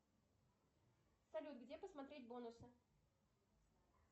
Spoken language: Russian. салют где посмотреть бонусы